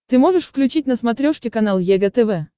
ты можешь включить на смотрешке канал егэ тв